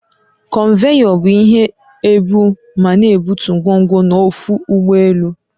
Konveyor bu ihe ebu ma n'ebutu ngwongwo n'ọfụ ụgbọ elu.